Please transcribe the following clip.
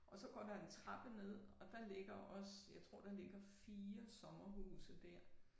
Og så går der en trappe ned og der ligger også jeg tror der ligger 4 sommerhuse dér